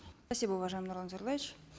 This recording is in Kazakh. спасибо уважаемый нурлан зайроллаевич